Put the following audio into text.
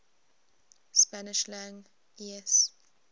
spanish lang es